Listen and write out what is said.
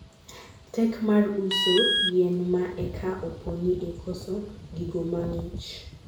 tek mar uso yien ma eka oponi en koso gigo mang'ich